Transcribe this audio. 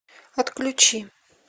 отключи